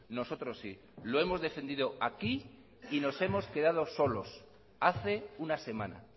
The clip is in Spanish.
nosotros sí lo hemos defendido aquí y nos hemos quedado solos hace una semana